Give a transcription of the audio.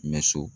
Mɛ so